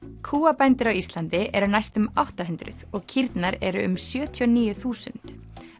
kúabændur á Íslandi eru næstum átta hundruð og kýrnar eru um sjötíu og níu þúsund